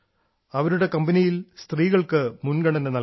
അവരുടെ കമ്പനിയിൽ സ്ത്രീകൾക്ക് മുൻഗണന നൽകുന്നു